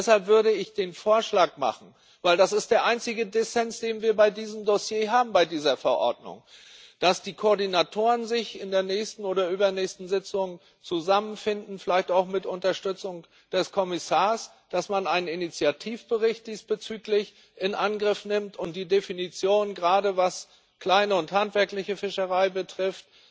Deshalb würde ich den Vorschlag machen denn das ist der einzige Dissens, den wir bei diesem Dossier haben, bei dieser Verordnung dass die Koordinatoren sich in der nächsten oder übernächsten Sitzung zusammenfinden, vielleicht auch mit Unterstützung des Kommissars, dass man einen Initiativbericht diesbezüglich in Angriff nimmt und die Definition gerade was kleine und handwerkliche Fischerei betrifft